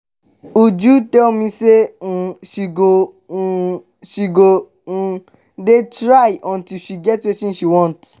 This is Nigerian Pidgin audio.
uju tell me say um she go um she go um dey try until she get wetin she want